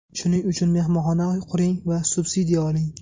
Shuning uchun mehmonxona quring va subsidiya oling”.